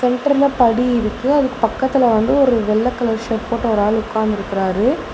என்டர்ல படி இருக்கு அதுக்கு பக்கத்துல வந்து ஒரு வெள்ள கலர் ஷர்ட் போட்ட ஒரு ஆள் உக்காந்திருக்கறாரு.